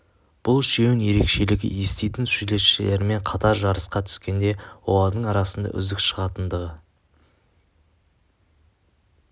бұл үшеуінің ерекшелігі еститін суретшілермен қатар жарысқа түскенде олардың арасынан үздік шығатындығы